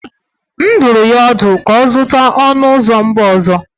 M dụrụ ya ọdụ ka ọ zụta ọnụ ụzọ mba ọzọ.